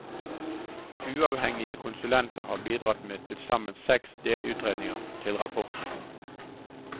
Uavhengige konsulenter har bidratt med tilsammen seks delutredninger til rapporten.